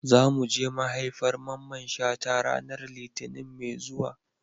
Za mu je maihaifar Mamman Shata ranar Litinin mai zuwa.